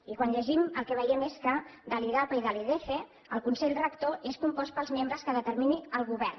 i quan llegim el que veiem és que de l’idapa i de l’idece el consell rector és compost pels membres que determini el govern